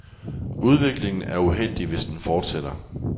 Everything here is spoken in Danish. Udviklingen er uheldig, hvis den fortsætter.